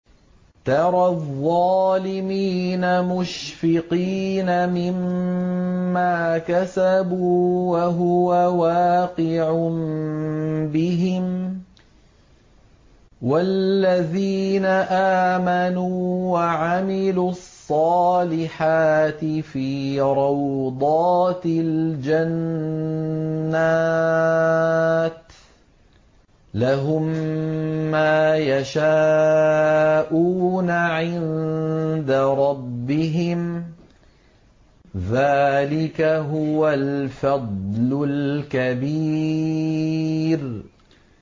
تَرَى الظَّالِمِينَ مُشْفِقِينَ مِمَّا كَسَبُوا وَهُوَ وَاقِعٌ بِهِمْ ۗ وَالَّذِينَ آمَنُوا وَعَمِلُوا الصَّالِحَاتِ فِي رَوْضَاتِ الْجَنَّاتِ ۖ لَهُم مَّا يَشَاءُونَ عِندَ رَبِّهِمْ ۚ ذَٰلِكَ هُوَ الْفَضْلُ الْكَبِيرُ